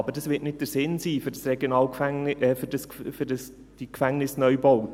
Aber das wird für die Gefängnisneubauten nicht der Sinn sein.